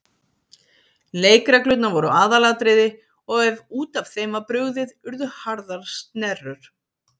Leikreglurnar voru aðalatriði og ef út af þeim var brugðið urðu harðar snerrur.